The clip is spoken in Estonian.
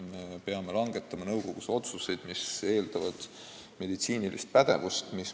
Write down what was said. Me peame langetama nõukogus otsuseid, mis eeldavad meditsiinilist pädevust.